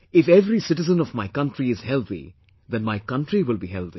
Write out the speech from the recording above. If every citizen of my country is healthy, then my country will be healthy